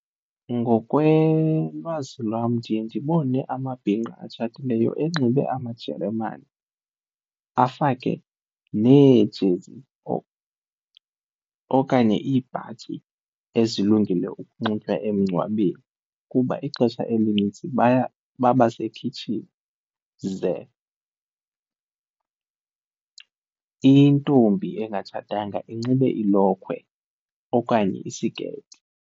Ngokwelwazi lwam ndiye ndibone amabhinqa atshatileyo enxibe amajeremane, afake neejezi okanye iibhatyi ezilungele ukunxitywa emngcwabeni kuba ixesha elinintsi baya babasekhitshini ze intombi engatshatanga inxibe ilokhwe okanye isiketi.